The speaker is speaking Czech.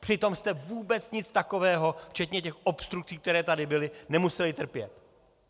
Přitom jste vůbec nic takového, včetně těch obstrukcí, které tady byly, nemuseli trpět!